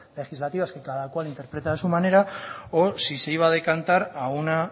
legislativas que cada cual interpreta a su manera o si se iba a decantar a una